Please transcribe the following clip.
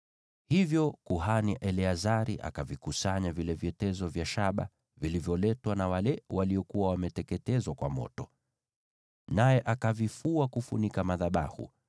Hivyo kuhani Eleazari akavikusanya vile vyetezo vya shaba vilivyoletwa na wale waliokuwa wameteketezwa kwa moto, naye akavifua kufunika madhabahu,